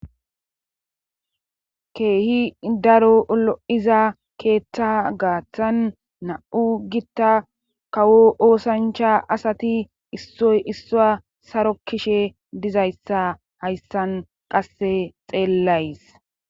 keehi daro lo7iza keeththa gaaththan na7u gitta kawo oosancha asati issoy issua saro kishe dizayssa hayssan qasse xeellays